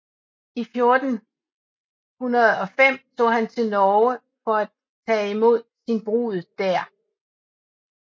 I 1405 tog han til Norge for at tage imod sin brud der